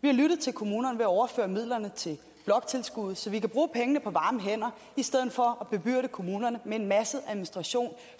vi har lyttet til kommunerne ved at overføre midlerne til bloktilskuddet så vi kan bruge pengene på varme hænder i stedet for at bebyrde kommunerne med en masse administration